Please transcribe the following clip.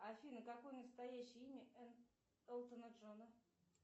афина какое настоящее имя элтона джона